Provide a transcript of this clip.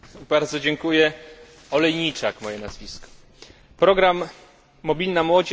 Program Mobilna młodzież to jedna z najważniejszych inicjatyw w ramach strategii Europa